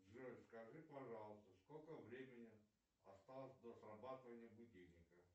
джой скажи пожалуйста сколько времени осталось до срабатывания будильника